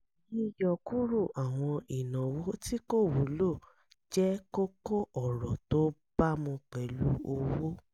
yíyọkúrò àwọn ìnáwó tí kò wúlò jẹ́ kókó-òrò tó bámu pẹ̀lú owó